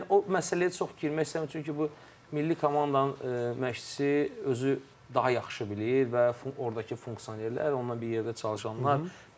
Yəni o məsələyə çox girmək istəmirəm, çünki bu milli komandanın məşqçisi özü daha yaxşı bilir və ordakı funksionerlər, onunla bir yerdə çalışanlar,